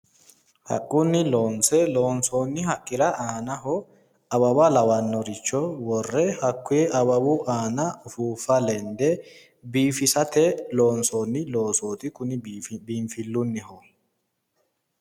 Haqqunni loonse loonsoonni haqqira aanaho awawa lawinorichowore hakkuy awawu aana ufuuffa lende biifisate loonsoonni loosooti, kuni biinfillunniho.